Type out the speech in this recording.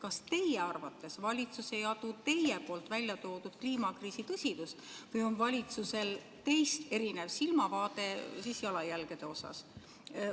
Kas teie arvates valitsus ei adu teie poolt välja toodud kliimakriisi tõsidust või on valitsusel teist erinev silmavaade jalajälgede osas?